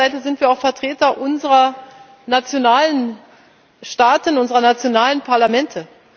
Auf der anderen Seite sind wir auch Vertreter unserer nationalen Staaten, unserer nationalen Parlamente.